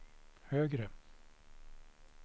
högre